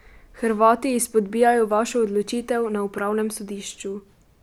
Hrvati izpodbijajo vašo odločitev na upravnem sodišču.